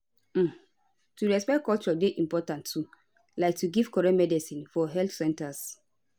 um to respect culture dey important too like to give correct medicines for health centers